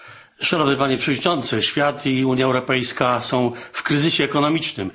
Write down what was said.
Szanowny Panie Przewodniczący! Świat i Unia Europejska są w kryzysie ekonomicznym.